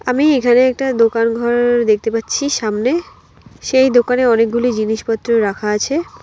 আমি এখানে একটা দোকান ঘর দেখতে পাচ্ছি সামনে সেই দোকানে অনেকগুলি জিনিসপত্র রাখা আছে।